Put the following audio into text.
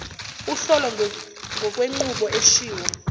uhlolo ngokwenqubo eshiwo